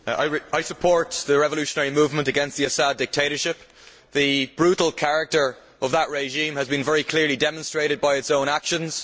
Madam President, I support the revolutionary movement against the Assad dictatorship. The brutal character of that regime has been very clearly demonstrated by the regime's own actions.